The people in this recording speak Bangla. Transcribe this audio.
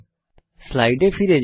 স্লাইডে ফিরে যাই